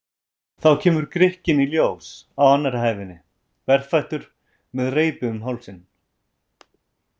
Þá kemur Grikkinn í ljós á annarri hæðinni, berfættur með reipi um hálsinn.